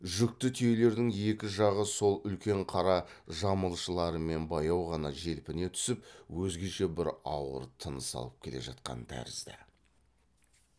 жүкті түйелердің екі жағы сол үлкен қара жамылшыларымен баяу ғана желпіне түсіп өзгеше бір ауыр тыныс алып келе жатқан тәрізді